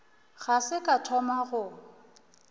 ga se ka thoma go